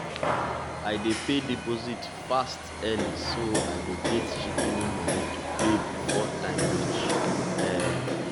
i dey pay deposit fast early so i go get shikini money to pay before time reach um